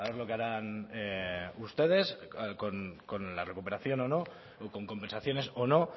lo que harán ustedes con la recuperación o no o con compensaciones o no